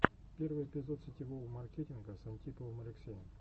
первый эпизод сетевого маркетинга с антиповым алексеем